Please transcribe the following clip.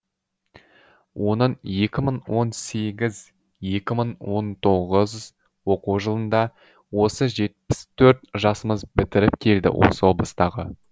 оның екі мың он сегіз екі мың он тоғыз оқу жылында осы жетпіс төрт жасымыз бітіріп келді осы облыстағы